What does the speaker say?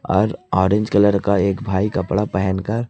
आज orange colour का एक भाई कपड़ा पहन कर--